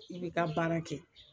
I bi ka baara kɛ